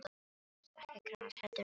Grasið er ekki gras, heldur leifar.